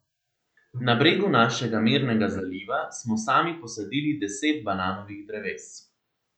Na bregu našega mirnega zaliva smo sami posadili deset bananovih dreves.